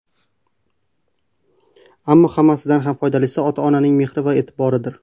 Ammo hammasidan ham foydalisi ota-onaning mehri va e’tiboridir.